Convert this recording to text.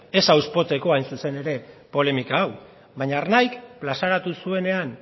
ez hain zuzen ere polemika hau baina ernaik plazaratu zuenean